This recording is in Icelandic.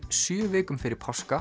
sjö vikum fyrir páska